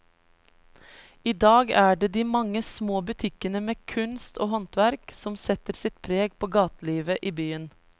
I dag er det de mange små butikkene med kunst og håndverk som setter sitt preg på gatelivet i byen.